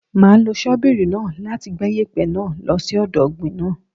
Máa lo ṣọ́bìrì náà láti gbẹ́ yèpẹ̀ náà lo sí ọ̀dọ̀ ọ̀gbìn náà.